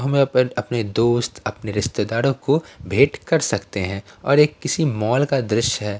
हमें अपने दोस्त अपने रिश्तेदारों को भेंट कर सकते हैं और एक किसी मॉल का दृश्य है।